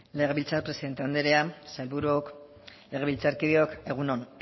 legebiltzar presidente anderea sailburuok legebiltzarkideok egun on